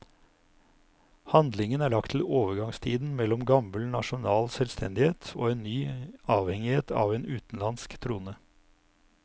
Handlingen er lagt til overgangstiden mellom gammel nasjonal selvstendighet og en ny avhengighet av en utenlandsk trone.